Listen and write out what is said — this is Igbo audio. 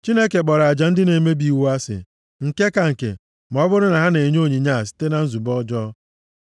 Chineke kpọrọ aja ndị na-emebi iwu asị, nke ka nke, ma ọ bụrụ na ha na-enye onyinye a site na nzube ọjọọ.